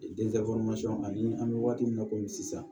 ani an bɛ waati min na komi sisan